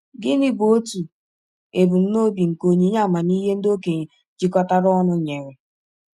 Gịnị bụ otu ebumnobi nke onyinye amamihe ndị okenye jikọtara ọnụ nyere?